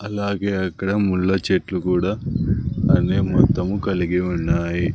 అలాగే అక్కడ ముళ్ళ చెట్లు కూడా అనే మొత్తము కలిగి ఉన్నాయి.